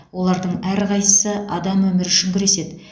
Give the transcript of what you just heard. олардың әрқайсы адам өмірі үшін күреседі